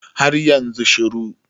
har yanzu shiru